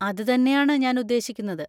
അത് തന്നെയാണ് ഞാൻ ഉദ്ദേശിക്കുന്നത്.